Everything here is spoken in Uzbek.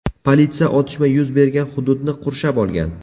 Politsiya otishma yuz bergan hududni qurshab olgan.